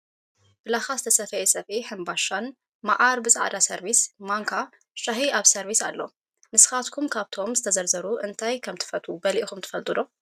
ብላካ ዝተሰፈየ ሰፍኢ ሕንባሻን፣ ማዓር ብፃዕዳ ሰርቪስ ፣ማንካ ፣ሻሂ ኣብ ሰርቪስ አሎ። ንስካትኩም ካብ እቶም ዝተዘርዘሩ እንታይ ከምእትፈትዉ በሊዕኩም ትፈልጡ ዶ ?